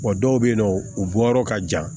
Wa dɔw bɛ yen nɔ u bɔyɔrɔ ka jan